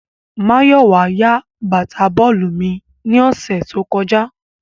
Mayowa ya bata bọọlu mi ni ọsẹ to kọja